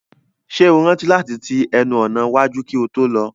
Ṣé o rántí láti ti ẹnu ọ̀nà iwájú kí o tó lọ?